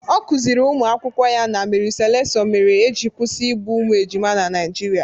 Ọ kụziiri ụmụ akwụkwọ ya na Mary Slessor mere eji kwụsị igbu ụmụ ejima na Naijiria.